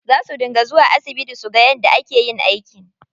Za suna zuwa asibiti suga yadda ake yin aiki.